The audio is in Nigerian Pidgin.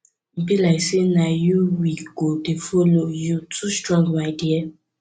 e be like say na you we go dey follow you too strong my dear